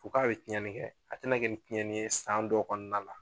U k'a be tiɲɛni kɛ, a te na kɛ ni tiɲɛni ye san dɔw kɔnɔna la.